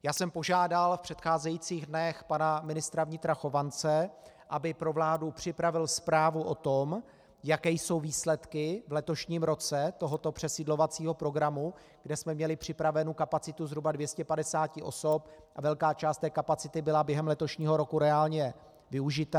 Já jsem požádal v předcházejících dnech pana ministra vnitra Chovance, aby pro vládu připravil zprávu o tom, jaké jsou výsledky v letošním roce tohoto přesídlovacího programu, kde jsme měli připravenu kapacitu zhruba 250 osob a velká část té kapacity byla během letošího roku reálně využita.